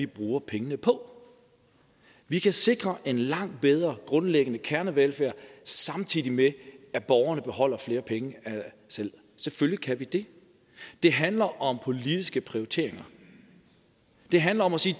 bruge pengene på vi kan sikre en langt bedre grundlæggende kernevelfærd samtidig med at borgerne beholder flere penge selv selvfølgelig kan vi det det handler om politiske prioriteringer det handler om at sige